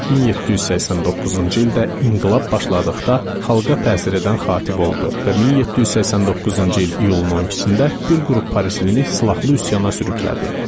1789-cu ildə inqilab başladıqda xalqa təsir edən xatib oldu və 1789-cu il iyulun 12-də bir qrup Parislini silahlı üsyana sürüklədi.